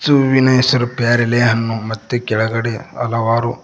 ಮತ್ತು ಹೂವಿನ ಹೆಸರು ಪ್ಯಾರಲೆ ಹಣ್ಣು ಮತ್ತು ಕೆಳಗಡೆ ಹಲವಾರು --